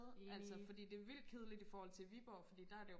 altså fordi det er vildt kedligt i forhold til Viborg fordi der er jo